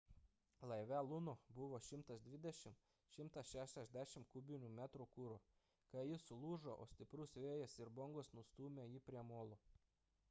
laive luno buvo 120–160 kubinių metrų kuro kai jis sulūžo o stiprus vėjas ir bangos nustūmė jį prie molo